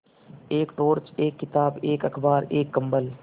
एक टॉर्च एक किताब एक अखबार एक कम्बल